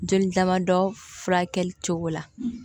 Joli damadɔ furakɛli cogo la